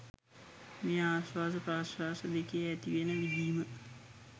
මේ ආශ්වාස ප්‍රශ්වාස දෙකේ ඇතිවෙන විඳීම